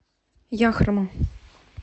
яхрома